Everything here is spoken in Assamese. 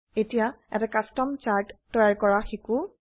এতিয়া এটা কাস্টম চাৰ্ট তৈয়াৰ কৰা শিকো